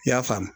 I y'a faamu